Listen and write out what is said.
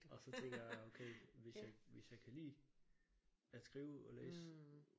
Og så tænkte jeg okay hvis jeg hvis jeg kan lide at skrive og læse